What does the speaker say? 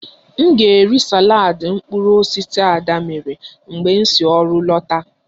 M ga-eri saladị mkpụrụ osisi Ada mere mgbe m si ọrụ lọta